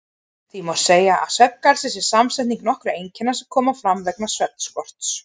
Því má segja að svefngalsi sé samsetning nokkurra einkenna sem koma fram vegna svefnskorts.